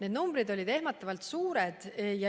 Need numbrid olid ehmatavalt suured.